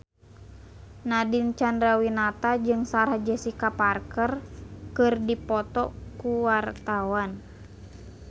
Nadine Chandrawinata jeung Sarah Jessica Parker keur dipoto ku wartawan